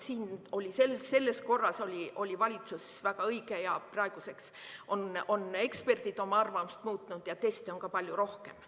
Selles oli valitsuse väga õige ning praeguseks on eksperdid oma arvamust muutnud ja teste tehakse palju rohkem.